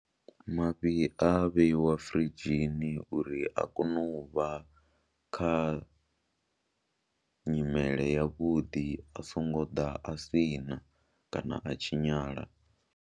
Mafhi a a vheiwa firidzhini uri a kone u vha kha nyimele yavhuḓi a songo ḓa a si na kana a tshinyala.